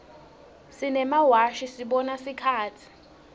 simemawashi sibona sikhatsi